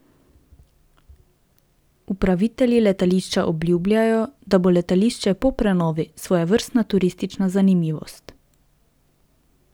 Upravitelji letališča obljubljajo, da bo letališče po prenovi svojevrstna turistična zanimivost.